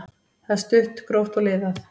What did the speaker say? Það er stutt, gróft og liðað.